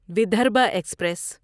Vidarbha express